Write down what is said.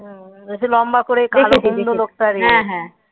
ওই সে লম্বা করে কালো করে লোকটা রে